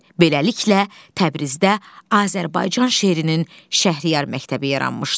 Beləliklə, Təbrizdə Azərbaycan şeirinin Şəhriyar məktəbi yaranmışdı.